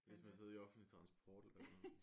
Ligesom at sidde i offentlig transport eller et eller andet